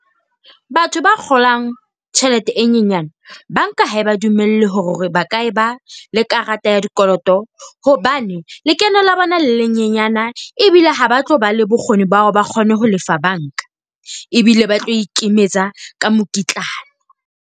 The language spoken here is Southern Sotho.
Batho ba kgolang tjhelete e nyenyane, banka ha ba dumele hore ba ka eba le karata ya dikoloto hobane lekeno la bona le nyenyana ebile ha ba tlo ba le bokgoni, ba hore ba kgone ho lefa banka. Ebile ba tlo ikemetsa ka mokitlane.